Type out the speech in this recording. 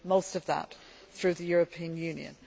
most of that through the European Union.